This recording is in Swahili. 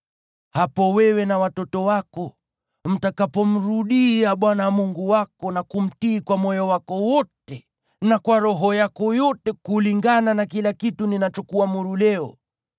hapo wewe na watoto wako mtakapomrudia Bwana Mungu wako, na kumtii kwa moyo wako wote na kwa roho yako yote kulingana na kila kitu ninachokuamuru leo,